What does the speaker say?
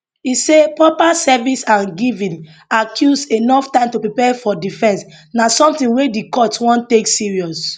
e say proper service and giving accused enof time to prepare for defense na sometin wey di court wan take serious